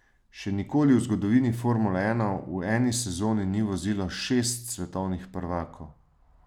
Še nikoli v zgodovini formule ena v eni sezoni ni vozilo šest svetovnih prvakov.